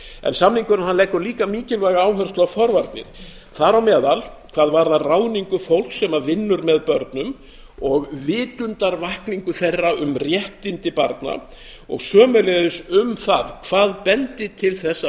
en samningurinn leggur líka mikilvæga áherslu á forvarnir þar á meðal hvað varðar ráðningu fólks sem vinnur með börnum og vitundarvakningu þeirra um réttindi barna og sömuleiðis um það hvað bendi til þess að